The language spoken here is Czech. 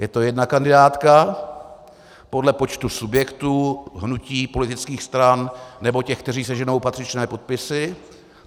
Je to jedna kandidátka podle počtu subjektů, hnutí, politických stran nebo těch, kteří seženou patřičné podpisy.